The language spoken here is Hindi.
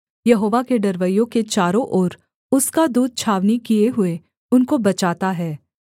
यहोवा के डरवैयों के चारों ओर उसका दूत छावनी किए हुए उनको बचाता है